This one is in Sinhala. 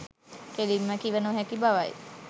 කෙළින්ම කිව නොහැකි බවයි.